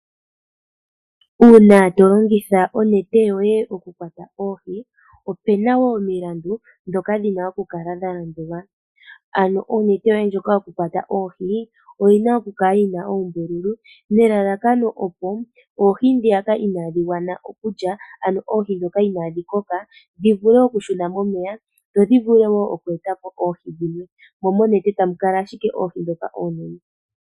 Uuna tolongitha onete yoye okukwata oohi opena woo omilandu dhoka dhina okukala dha landulwa, ano onete yoye ndjoka yokukwata oohi oyina okukala yina oombululu nelalakano opo oohi ndhiyaka inaadhigwana okulya ano oohi dhoka iinadhi koka dhivule okushuna momeya dho dhivule wo oku eta po oohi dhimwe, mo monete tamu kala ashike oohi dhoka oonene.